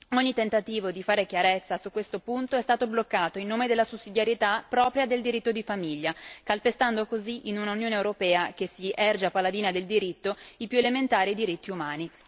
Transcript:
Ogni tentativo di fare chiarezza su questo punto è stato bloccato in nome della sussidiarietà propria del diritto di famiglia, calpestando così, in un'Unione europea che si erge a paladina del diritto, i più elementari diritti umani.